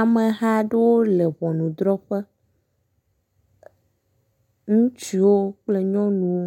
Amehaɖewo le ʋɔnudrɔƒe ŋutsuwo kple nyɔnuwo